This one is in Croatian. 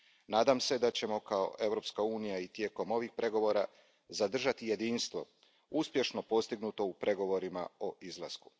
Nadam se da ćemo kao Europska unija i tijekom ovih pregovora zadržati jedinstvo, uspješno postignuto u pregovorima o izlasku.